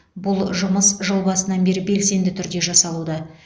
бұл жұмыс жыл басынан бері белсенді түрде жасалуда